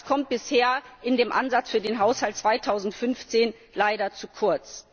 Das kommt bisher in dem Ansatz für den Haushalt2015 leider zu kurz.